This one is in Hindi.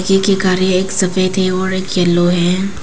एक गाड़ी एक सफेद है और एक गाड़ी येलो है।